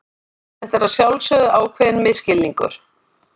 Þetta er að sjálfsögðu ákveðinn misskilningur.